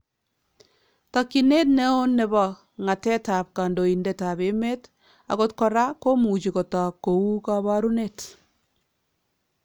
Takyinet neon nebo ng'atetab kandoindetab emeet , akot koraa komuchi kotook kou kabarunet